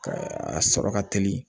Ka a sɔrɔ ka teli